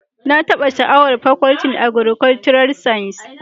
Na taba sha'awar Fakultin Agrikolcural science